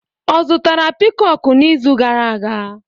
Ọ zụtara piikoku n'izu gara aga?